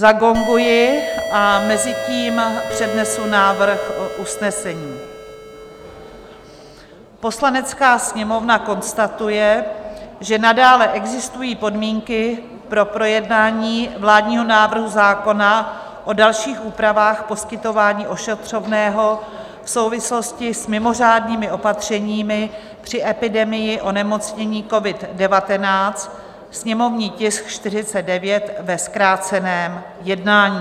Zagonguji a mezitím přednesu návrhu usnesení: "Poslanecká sněmovna konstatuje, že nadále existují podmínky pro projednání vládního návrhu zákona o dalších úpravách poskytování ošetřovného v souvislosti s mimořádnými opatřeními při epidemii onemocnění COVID-19, sněmovní tisk 49, ve zkráceném jednání."